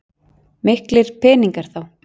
Miklir peningar þá.